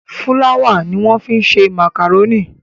Fúláwà ni wọ́n fi ń ṣe màkàrónì.